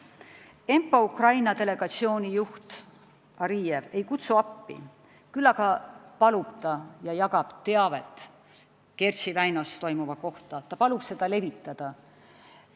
ENPA Ukraina delegatsiooni juht Ariev ei kutsu appi, küll aga jagab ta teavet Kertši väinas toimuva kohta, ta palub seda levitada.